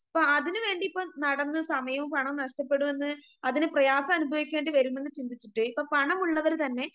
അപ്പൊ അതിനുവേണ്ടി ഇപ്പൊ നടന്ന് സമയവും പണവും നഷ്ടപ്പെടുംന്ന് അതിന് പ്രയാസമനുഭവിക്കേണ്ടിവരുമെന്ന് ചിന്തിച്ചിട്ട് ഇപ്പൊ പണമുള്ളവര് തന്നെ